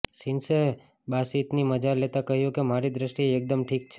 સિન્સે બાસિતની મજા લેતા કહ્યું કે મારી દ્રષ્ટિએ એકદમ ઠીક છે